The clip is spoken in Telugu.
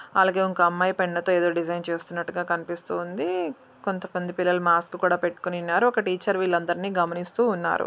అలాగే ఒక అమ్మాయి పెన్ తో ఏదో డిజైన్ చేస్తున్నట్టుగా కనిపిస్తు ఉంది. కొంతమంది పిల్లలు మాస్క్ కూడా పెట్టుకుని ఉన్నారు. ఒక టీచర్ వీళ్ళ అందరిని గమనిస్తూ ఉన్నారు.